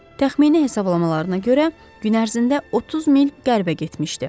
Təxmini hesablamalarına görə gün ərzində 30 mil qərbə getmişdi.